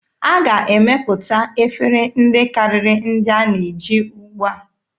A ga-emepụta efere ndị karịrị ndị a na-eji ugbua.